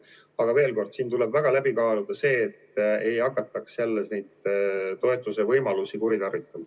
Aga veel kord: siin tuleb väga läbi kaaluda see, et ei hakataks jälle neid toetuse võimalusi kuritarvitama.